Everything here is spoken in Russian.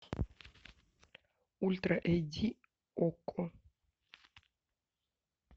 ультра эйч ди окко